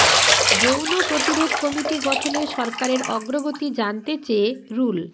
যৌন প্রতিরোধ কমিটি গঠনে সরকারের অগ্রগতি জানতে চেয়ে রুল